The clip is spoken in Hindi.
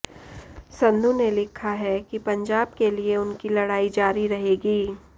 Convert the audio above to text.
संधू ने लिखा है कि पंजाब के लिए उनकी लड़ाई जारी रहेगी